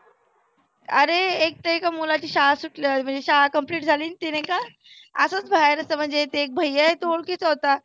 आरे एक तर एका मुलाची शाळा सुटल्यावर म्हणजे शाळा complete झाली. ते नाहीका असच बाहेर होतं म्हणजे एक भैय्या आहे तो ओळखीचा होता.